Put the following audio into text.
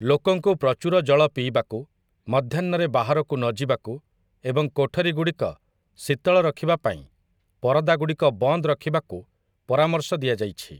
ଲୋକଙ୍କୁ ପ୍ରଚୁର ଜଳ ପିଇବାକୁ, ମଧ୍ୟାହ୍ନରେ ବାହାରକୁ ନ ଯିବାକୁ ଏବଂ କୋଠରୀଗୁଡ଼ିକ ଶୀତଳ ରଖିବା ପାଇଁ ପରଦାଗୁଡ଼ିକ ବନ୍ଦ ରଖିବାକୁ ପରାମର୍ଶ ଦିଆଯାଇଛି ।